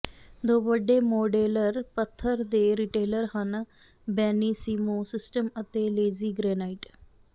ਦੋ ਵੱਡੇ ਮੋਡੇਲਰ ਪੱਥਰ ਦੇ ਰਿਟੇਲਰ ਹਨ ਬੇਨਿਸੀਮੋ ਸਿਸਟਮ ਅਤੇ ਲੇਜ਼ੀ ਗ੍ਰੇਨਾਈਟ